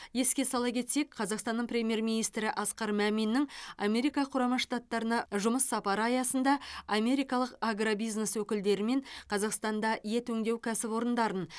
еске сала кетсек қазақстанның премьер министрі асқар маминнің америка құрама штаттарына жұмыс сапары аясында америкалық агробизнес өкілдерімен қазақстанда ет өңдеу кәсіпорындарын